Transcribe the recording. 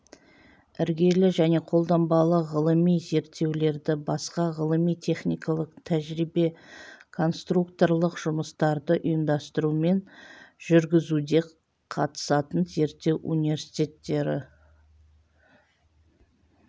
іргелі және қолданбалы ғылыми зерттеулерді басқа ғылыми-техникалық тәжірибе-конструкторлық жұмыстарды ұйымдастыру мен жүргізуде қатысатын зерттеу университеттері